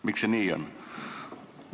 Miks see nii on?